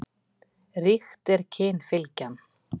Ríkt er kynfylgjan.